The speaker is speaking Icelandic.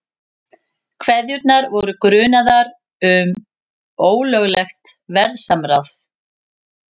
Keðjurnar voru grunaðar um ólöglegt verðsamráð